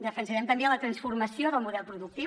defensarem també la transformació del model productiu